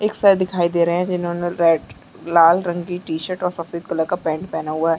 एक सर दिखाई दे रहे है जिन्होंने रेड लाल रंग की टी-शर्ट और सफ़ेद कलर का पैंट पहना हुआ है।